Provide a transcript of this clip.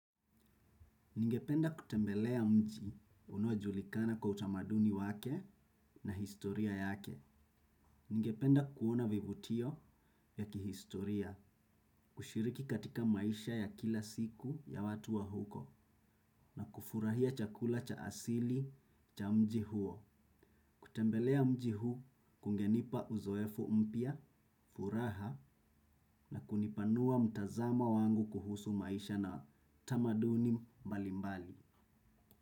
Ningependa kutembelea mji unojulikana kwa utamaduni wake na historia yake. Ningependa kuona vivutio ya kihistoria, kushiriki katika maisha ya kila siku ya watu wa huko na kufurahia chakula cha asili cha mji huo. Kutembelea mji huu kungenipa uzoefu mpya, furaha na kunipanua mtazama wangu kuhusu maisha na tamaduni mbalimbali.